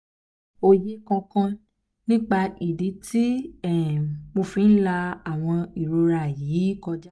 oye kan kan nipa idi ti um mo fi la awon irora ikun yi um koja?